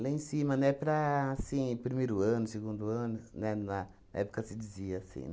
Lá em cima, né, para, assim, primeiro ano, segundo ano, na na época se dizia assim.